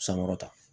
Sankɔrɔta